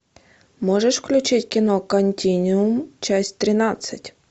можешь включить кино континуум часть тринадцать